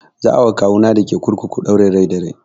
Za a wa kawu na dake kurkuku ɗaurin rai da rai